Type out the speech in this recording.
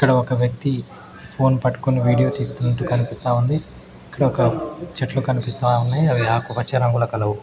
ఒక వ్యక్తి ఫోన్ పట్టుకొని వీడియో తీస్తున్నట్టు కనిపిస్తా ఉంది ఇక్కడ ఒక చెట్లు కనిపిస్తా ఉన్నాయి అవి ఆకుపచ్చ రంగులో కలవు.